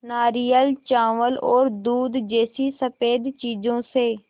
नारियल चावल और दूध जैसी स़फेद चीज़ों से